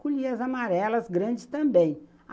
Colhia as amarelas grandes também.